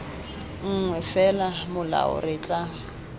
nngwe fela molao re tla